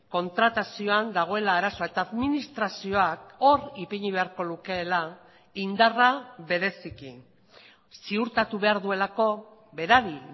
kontratazioan dagoela arazoa eta administrazioak hor ipini beharko lukeela indarra bereziki ziurtatu behar duelako berari